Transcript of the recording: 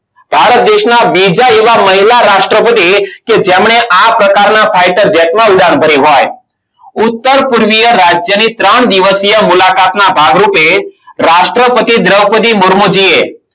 ભારત દેશના બીજા એવા મહિલા રાષ્ટ્રપતિ કે જેમણે આ પ્રકારના fighter jet માં ઉડાન ભરી હોય ઉત્તરપૂર્વીય રાજ્યની ત્રણ દિવસીય મુલાકાત ના ભાગરૂપે રાષ્ટ્રપતિ દ્રોપદી મુર્મુ જીએ